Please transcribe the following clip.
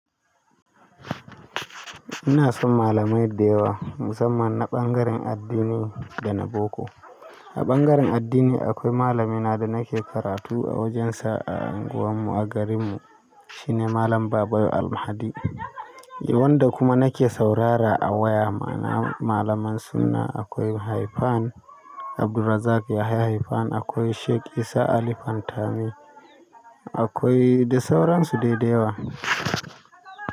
Ina son malamai da yawa musamman na ɓangaren addini da na boko. A ɓangaren addini akwai malami na da nake karatu a wajensa a unguwar mu a garin mu. Shi ne Malam Babayo Almahdi. Wanda kuma nake saurara a waya. Ma'ana, malaman sunna akwai Haifan Abdulrazak Yahaya Haifan, akwai Sheik Isah Ali Fantami, akwai da sauran su dai da yawa.